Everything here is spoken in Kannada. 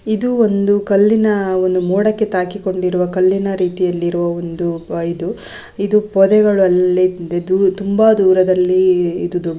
ಇದು ಒಂದು ಕಲ್ಲಿನ ಒಂದು ಮೋಡಕ್ಕೆ ತಾಗಿಕೊಂಡಿರುವ ಕಲ್ಲಿನ ರೀತಿಯಲ್ಲಿರುವ ಒಂದು ಇದು ಇದು ಪೊದೆ ಒಳಗೆ ಬಿದ್ದಿದ್ದು ತುಂಬಾ ದೂರದಲ್ಲಿ ಇದ್ದಿದ್ದು.